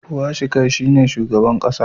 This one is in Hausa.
Pwashikai shi ne shugaban kasa.